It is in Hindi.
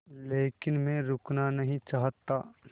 लेकिन मैं रुकना नहीं चाहता